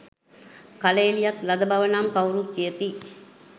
කලඑළියක් ලද බව නම් කවුරුත් කියති.